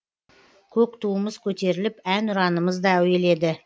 көк туымыз көтеріліп әнұранымыз да әуеледі